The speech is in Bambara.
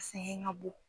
Sɛgɛn ka bon